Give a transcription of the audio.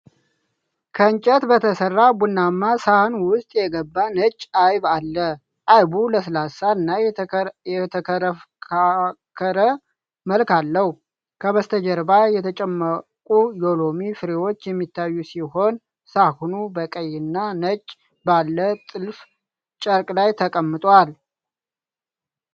ከእንጨት በተሰራ ቡናማ ሳህን ውስጥ የገባ ነጭ አይብ አለ። አይቡ ለስላሳ እና የተፈረካከረ መልክ አለው። ከበስተጀርባ የተጨመቁ የሎሚ ፍሬዎች የሚታዩ ሲሆን፣ ሳህኑ በቀይ እና ነጭ ባለ ጥልፍ ጨርቅ ላይ ተቀምጧል።